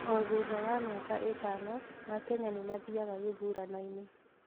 o thutha wa mĩaka ĩtano aakenya nĩmathiaga gĩthurano-ini